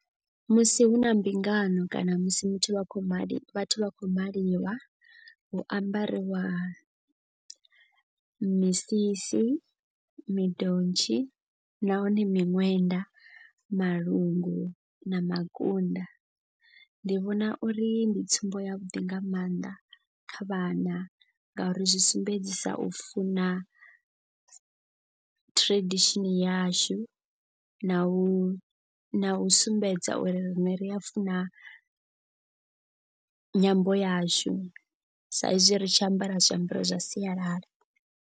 Musi hu na mbingano kana musi muthu a khou mali vhathu vha khou maliwa. Hu ambariwa misisi, midontshi nahone miṅwenda, malungu na makunda. Ndi vhona uri ndi tsumbo ya vhuḓi nga maanḓa kha vhana ngauri zwi sumbedzisa u funa tradition yashu. Na u na u sumbedza uri riṋe ri a funa nyambo yashu sa izwi ri tshi ambara zwiambaro zwa sialala.